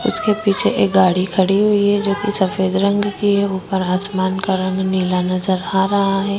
इसके पीछे एक गाड़ी खड़ी हुई है जो की सफेद रंग की हैं आसमान का कलर नीला नज़र आ रहा है।